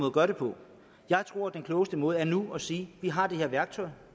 at gøre det på jeg tror den klogeste måde er nu at sige vi har det her værktøj